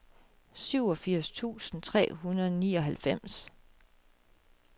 syvogfirs tusind tre hundrede og nioghalvfems